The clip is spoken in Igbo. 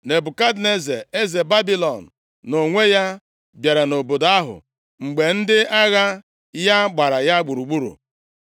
Nebukadneza, eze Babilọn nʼonwe ya, bịara nʼobodo ahụ mgbe ndị agha ya gbara ya gburugburu.